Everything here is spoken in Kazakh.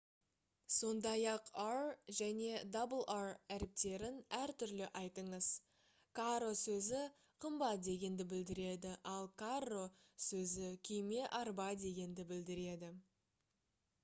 сондай-ақ r және rr әріптерін әртүрлі айтыңыз caro сөзі қымбат дегенді білдіреді ал carro сөзі күйме арба дегенді білдіреді